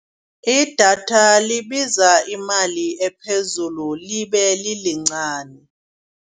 Idatha libiza imali ephezulu libe lilincani.